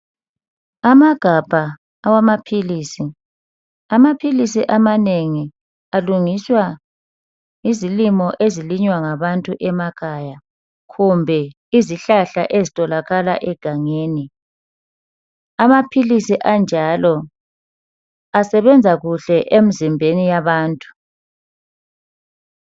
Amagabha awamapilisi. Amapilisi amanengi alungiswa yizilimo ezilinywa ngabantu emakhaya kumbe izihlahla ezitholakala egangeni. Amapilisi anjalo asebenza kuhle emzimbeni yabantu.